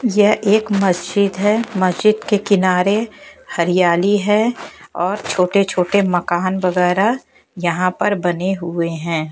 यह एक मस्जिद है मस्जिद के किनारे हरियाली है और छोटे छोटे मकान वगैरा यहां पर बने हुए है।